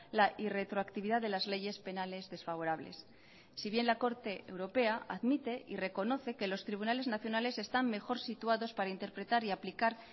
la irretroactividad de las leyes penales desfavorables si bien la corte europea admite y reconoce que los tribunales nacionales están mejor situados para interpretar y aplicar